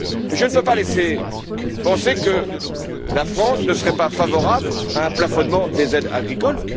là. Je ne peux pas laisser accroire que la France ne serait pas favorable à un plafonnement des aides agricoles.